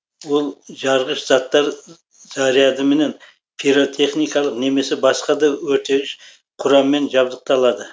ол жарғыш заттар зарядымен пиротехникалық немесе басқа да өртегіш құраммен жабдықталады